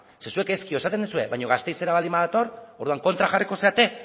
zeren zuek ezkio esaten duzue baina gasteizera baldin badator orduan kontra jarriko zarete